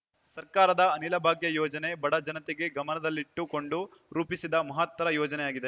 ಸರ್ಕಾರದ ಅನಿಲ ಭಾಗ್ಯ ಯೋಜನೆ ಬಡ ಜನತೆಗೆ ಗಮನದಲ್ಲಿಟ್ಟು ಕೊಂಡು ರೂಪಿಸಿದ ಮಹತ್ತರ ಯೋಜನೆಯಾಗಿದೆ